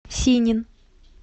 синин